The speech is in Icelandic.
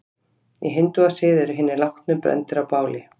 Í hindúasið eru hinir látnu brenndir á báli.